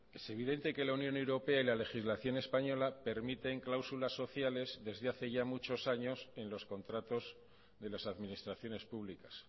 es evidente que la unión europea y la legislación española permiten cláusulas sociales desde hace ya muchos años en los contratos de las administraciones públicas